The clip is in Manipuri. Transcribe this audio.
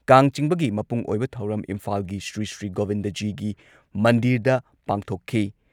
ꯀꯥꯡ ꯆꯤꯡꯕꯒꯤ ꯃꯄꯨꯡ ꯑꯣꯏꯕ ꯊꯧꯔꯝ ꯏꯝꯐꯥꯜꯒꯤ ꯁ꯭ꯔꯤꯁ꯭ꯔꯤ ꯒꯣꯕꯤꯟꯗꯖꯤꯒꯤ ꯃꯟꯗꯤꯔꯗ ꯄꯥꯡꯊꯣꯛꯈꯤ ꯫